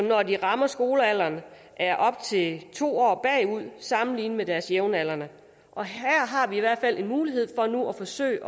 når de rammer skolealderen er op til to år bagud sammenlignet med deres jævnaldrende og her har vi i hvert fald en mulighed for nu at forsøge